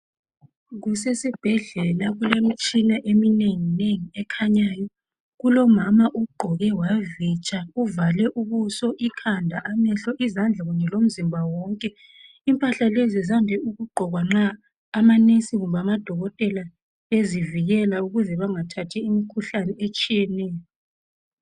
Kusesibhedlela kulemtshina eminenginengi ekhanyayo. Kulomama ogqoke wavitsha, uvale ubuso, ikhanda, amehlo, izandla kunye lomzimba wonke. Impahla lezi zande ukugqokwa nxa amanesi kumbe amadokotela bezivikela ukuze bengathathi imkhuhlane etshiyeneyo.